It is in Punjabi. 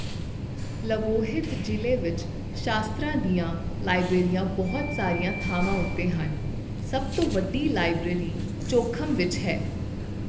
ਲਵੋਹਿਤ ਜ਼ਿਲ੍ਹੇ ਵਿੱਚ ਸ਼ਾਸਤਰਾਂ ਦੀਆਂ ਲਾਇਬ੍ਰੇਰੀਆਂ ਬਹੁਤ ਸਾਰੀਆਂ ਥਾਵਾਂ ਉੱਤੇ ਹਨ, ਸਭ ਤੋਂ ਵੱਡੀ ਲਾਇਬ੍ਰੇਰੀ ਚੌਖਮ ਵਿੱਚ ਹੈ।